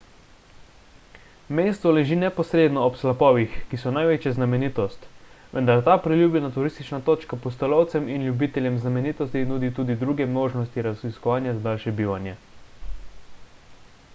mesto leži neposredno ob slapovih ki so največja znamenitost vendar ta priljubljena turistična točka pustolovcem in ljubiteljem znamenitosti nudi tudi druge možnosti raziskovanja za daljše bivanje